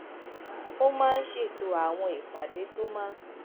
ó máa ń ṣètò àwọn ìpàdé tó máa